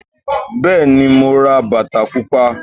Bẹ́è ní, mo ra bàtà pupa.